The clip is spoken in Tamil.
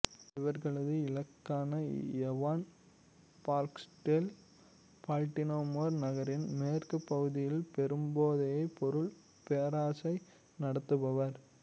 இவர்களது இலக்கான ஏவான் பார்க்ஸ்டேல் பால்ட்டிமோர் நகரின் மேற்குப் பகுதியில் பெரும் போதைப் பொருள் பேரரசை நடத்துபவர்